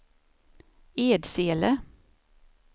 Edsele